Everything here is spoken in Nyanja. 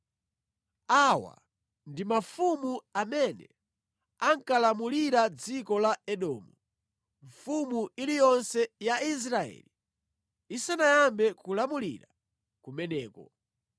Awa ndi mafumu amene ankalamulira dziko la Edomu, mfumu iliyonse ya Israeli isanayambe kulamulira kumeneko: